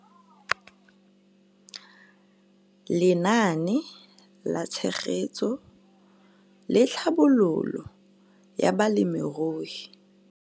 Lenaane la Tshegetso le Tlhabololo ya Balemirui